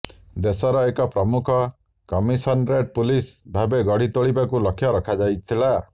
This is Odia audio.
ଦେଶର ଏକ ପ୍ରମୁଖ କମିସନରେଟ୍ ପୁଲିସ ଭାବେ ଗଢ଼ି ତୋଳିବାକୁ ଲକ୍ଷ୍ୟ ରଖାଯାଇଥିଲା